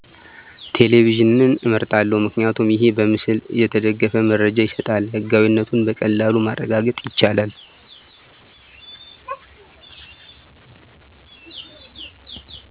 ቴሌቪዥንን አመርጣለሁ። ምክንያቱ ይሕ በምስል የተደገፈ መረጃ ይሰጣል። ሕጋዊእነቱን በቀላሉ ማረጋገጥ ይቻላል።